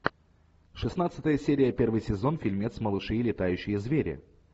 шестнадцатая серия первый сезон фильмец малыши и летающие звери